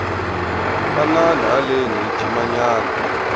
tanani haleni hi jima nyana